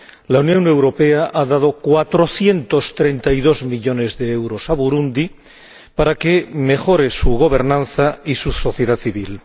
La Unión Europea ha dado 432 millones de euros a Burundi para que mejore su gobernanza y su sociedad civil.